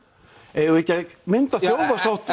eigum við ekki að mynda þjóðarsátt